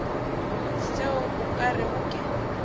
seo o ka rego ke